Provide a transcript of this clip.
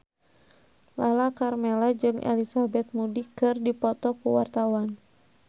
Lala Karmela jeung Elizabeth Moody keur dipoto ku wartawan